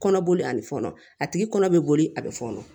Kɔnɔboli ani fɔnɔ a tigi kɔnɔ bɛ boli a bɛ fɔnɔ